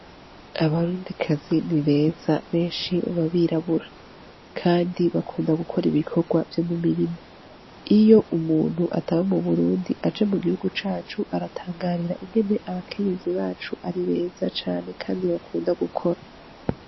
Abarundikazi ni beza, benshi baba birabura, kandi bakunda gukora ibikorwa vyo mu mirima. Iyo umuntu ataba mu Burundi aje mu gihungu cacu, aratangarira ingene abakenyezi bacu ari beza cane kandi bakunda gukora.